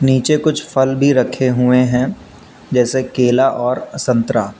नीचे फल भी रखे हुए हैं जैसे केला और संतरा।